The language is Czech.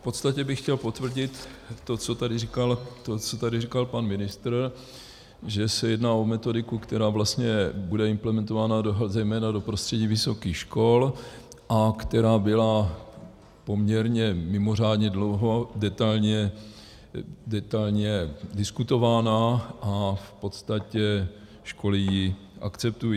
V podstatě bych chtěl potvrdit to, co tady říkal pan ministr, že se jedná o metodiku, která vlastně bude implementována zejména do prostředí vysokých škol a která byla poměrně mimořádně dlouho detailně diskutována a v podstatě školy ji akceptují.